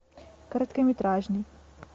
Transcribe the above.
короткометражный